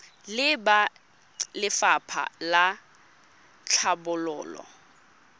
le ba lefapha la tlhabololo